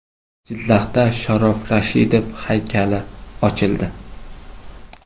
Jizzaxda Sharof Rashidov haykali ochildi.